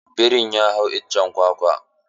Birin ya hau iccen kwakwa.